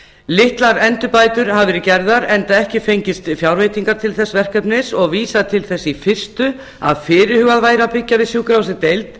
litlar endurbætur hafa verið gerðar enda ekki fengist fjárveitingar til þess verkefnis og vísað til þess í fyrstu að fyrirhugað væri að byggja við sjúkrahúsið deild